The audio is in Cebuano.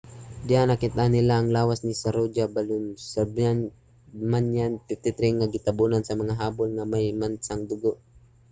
diha nakit-an nila ang lawas ni saroja balasubramanian 53 nga gitabonan sa mga habol nga may mantsang dugo